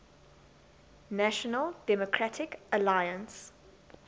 national democratic alliance